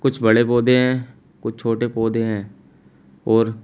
कुछ बड़े पौधे हैं कुछ छोटे पौधे हैं और--